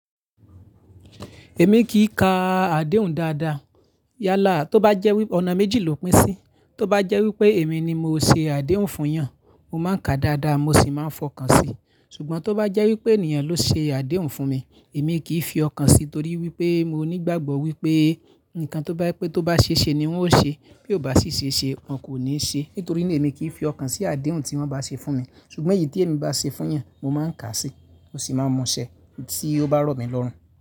Èmi kìi ka àdéhùn dáadáa. Yálà tó bá jẹ́ wípé ọ̀nà méjì ló pín sí, tó bá jẹ́ wípé èmi ni mo ṣe àdéhùn fún eeyàn, mo máa ń ka dáadáa mo sì máa ń fọkàn sí. Ṣùgbọ́n tó bá jẹ́ wípé ènìyàn ló ṣe àdéhùn fún mi, èmi kìí fi ọkàn si torí wípé mo ní ìgbàgbọ́ wípé ǹkan tó bá jẹ pé tó bá ṣe ṣe ni wọ́n ó ṣe, bí ó bá sì ṣe ṣe wọn kò ní ṣe. Nítorí náà èmi kìí fi ọkàn sí àdéhùn tí wọ́n bá ṣe fún mi. Ṣùgbọ́n èyí tí èmi bá ṣe fún eeyàn, mo máa ń kàá sí, mó sì máa mu ṣẹ́ tí ó bá rọ̀ mí lọ́rùn.